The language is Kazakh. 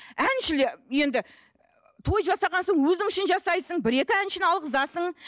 әншілер енді той жасаған соң өзің үшін жасайсың бір екі әншіні алғызасың